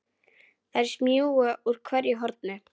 Þær smjúga úr hverju horni.